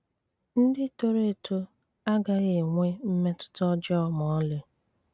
Ndị toro eto agaghị enwe mmetụta ọjọọ ma ọlị.